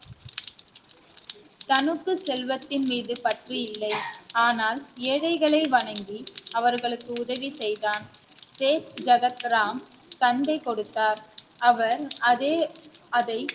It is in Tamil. தனக்கு செல்வத்தின் மீது பற்று இல்லை ஆனால் ஏழைகளை வணங்கி அவர்களுக்கு உதவி செய்தான் ஜெகத்ராம் தந்தை கொடுத்தார் அவர் அதே அதை